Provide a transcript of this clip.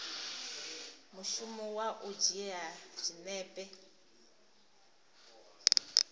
mushumo wa u dzhia zwinepe